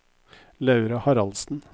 Laura Haraldsen